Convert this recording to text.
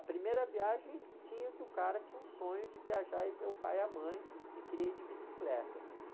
A primeira viagem tinha, que o cara tinha um sonho de viajar e ver o pai e a mãe e queria ir de bicicleta, meu